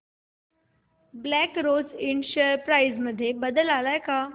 black Rose Ind share price मध्ये बदल आलाय का